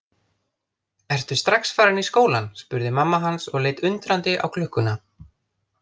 Ertu strax farinn í skólann spurði mamma hans og leit undrandi á klukkuna.